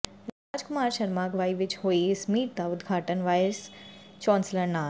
ਰਾਜ ਕੁਮਾਰ ਸ਼ਰਮਾ ਅਗਵਾਈ ਵਿਚ ਹੋਈ ਇਸ ਮੀਟ ਦਾ ਉਦਘਾਟਨ ਵਾਈਸ ਚਾਂਸਲਰ ਡਾ